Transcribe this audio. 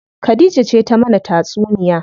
Khadija ce ta mana tatsuniya.